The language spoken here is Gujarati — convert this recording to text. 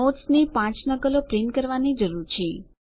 નોટ્સની 5 નકલો પ્રિન્ટ કરવાની જરૂર છે